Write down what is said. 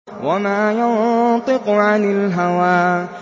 وَمَا يَنطِقُ عَنِ الْهَوَىٰ